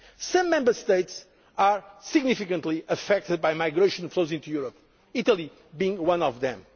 challenges. Some Member States are significantly affected by migration flows into Europe, Italy being